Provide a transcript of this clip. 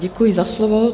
Děkuji za slovo.